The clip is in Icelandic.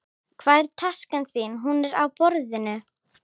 Hvar er taskan þín? Hún er á borðinu.